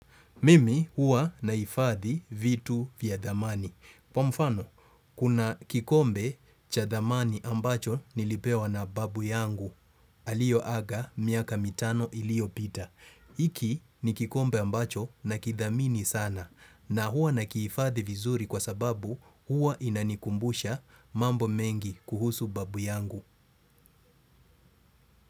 Mimi huwa naifadhi vitu vya dhamani. Kwa mfano, kuna kikombe cha dhamani ambacho nilipewa na babu yangu, aliyoaga miaka mitano iliyopita. Iki ni kikombe ambacho na kidhamini sana na huwa nakihifadhi vizuri kwasababu huwa inanikumbusha mambo mengi kuhusu babu yangu.